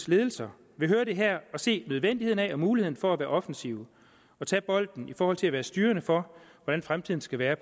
ledelser vil høre det her og se nødvendigheden af og muligheden for at være offensiv og tage bolden i forhold til at være styrende for hvordan fremtiden skal være